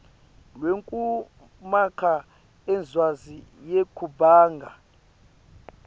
lwekumakha incwadzi yebungani